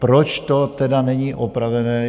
Proč to tedy není opravené?